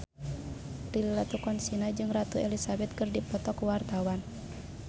Prilly Latuconsina jeung Ratu Elizabeth keur dipoto ku wartawan